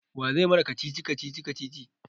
Wa zai mana kacici-kacici kacici?